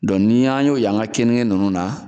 ni an y'o ye an ka keninge ninnu na